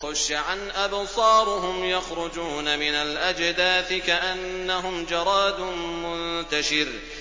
خُشَّعًا أَبْصَارُهُمْ يَخْرُجُونَ مِنَ الْأَجْدَاثِ كَأَنَّهُمْ جَرَادٌ مُّنتَشِرٌ